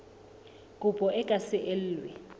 kopo e ka se elwe